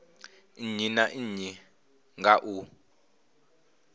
nnyi na nnyi nga u